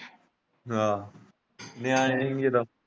ਆਹ ਹੀ ਜਦੋਂ।